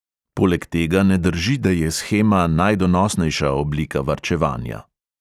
Poleg tega ne drži, da je shema najdonosnejša oblika varčevanja.